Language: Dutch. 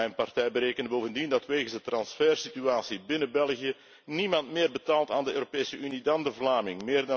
Mijn partij berekende bovendien dat wegens de transfersituatie binnen België niemand meer betaalt aan de Europese Unie dan de Vlaming.